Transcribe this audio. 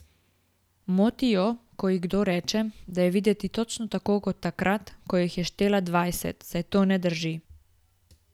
Moti jo, ko ji kdo reče, da je videti točno tako kot takrat, ko jih je štela dvajset, saj to ne drži.